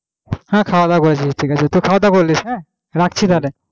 হ্যাঁ খাওয়া দাওয়া করেছি ঠিক আছে তো খাওয়া দাওয়া করলিশ হম রাখছি তাহলে,